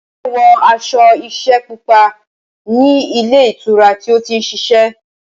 Ayinke wọ aṣọ iṣẹ́ pupa ní ilé ìtura tí ó ti ń ṣiṣẹ́.